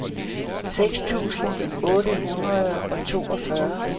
seks tusind otte hundrede og toogfyrre